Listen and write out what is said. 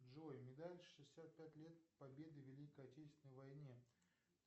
джой медаль шестьдесят пять лет победы в великой отечественной войне